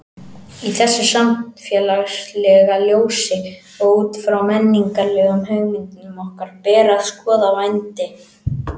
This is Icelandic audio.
Í þessu samfélagslega ljósi og út frá menningarlegum hugmyndum okkar ber að skoða vændi.